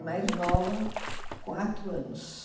É mais nova, quatro anos.